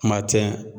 Kuma tɛ